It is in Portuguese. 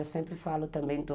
Eu sempre falo também do...